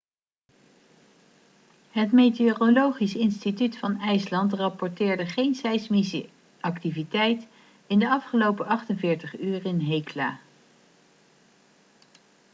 het meteorologisch instituut van ijsland rapporteerde geen seismische activiteit in de afgelopen 48 uur in hekla